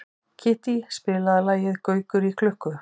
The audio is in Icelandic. Kittý, spilaðu lagið „Gaukur í klukku“.